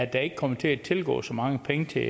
der ikke kommer til at tilgå så mange penge til